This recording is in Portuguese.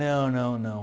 Não, não, não.